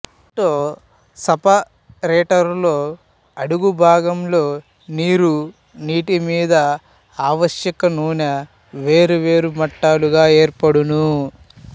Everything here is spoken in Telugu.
ఆటో సపరెటరులో అడుగుభాగంలో నీరు నీటి మీద ఆవశ్యకనూనె వేరు వేరు మట్టాలుగా ఏర్పడును